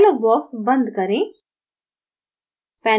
dialog box बंद करें